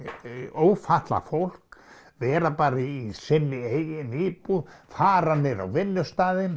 ófatlað fólk vera bara í sinni eigin íbúð fara niður á vinnustaðinn